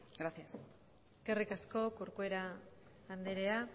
gracias eskerrik asko corcuera andrea